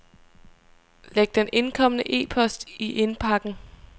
Læg den indkomne e-post i indbakken.